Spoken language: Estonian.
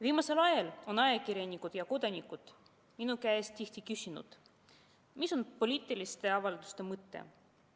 Viimasel ajal on ajakirjanikud ja kodanikud minu käest tihti küsinud, mis on poliitiliste avalduste mõte.